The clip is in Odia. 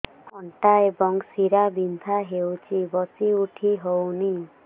ଅଣ୍ଟା ଏବଂ ଶୀରା ବିନ୍ଧା ହେଉଛି ବସି ଉଠି ହଉନି